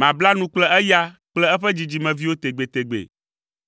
Mabla nu kple eya kple eƒe dzidzimeviwo tegbetegbe.